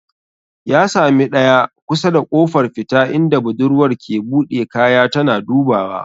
Ya sami ɗaya kusa da kofar fita inda budurwar ke buɗe kaya tana dubawa.